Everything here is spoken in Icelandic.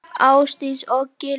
Ásdís og Gylfi.